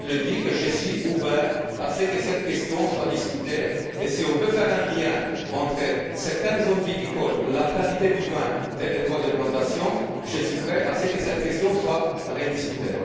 Personnellement, je suis ouvert à ce que cette question soit discutée et si on peut faire un lien entre certaines zones viticoles, la qualité du vin et les droits de plantation, je suis prêt à ce que cette question soit rediscutée.